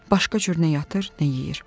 Başqa cür nə yatır, nə yeyir.